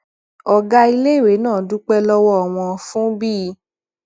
ògá iléèwé náà dúpé lówó wọn fún bí